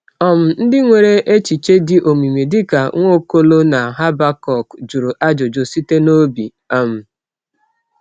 um Ndị nwere echiche dị omimi dịka Nwaokolo na Habakọk jụrụ ajụjụ site n’obi. um